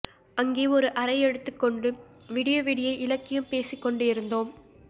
அங்கே ஒரு அறை எடுத்துக் கொண்டு விடியவிடிய இலக்கியம் பேசிக் கொண்டிருந்தோம்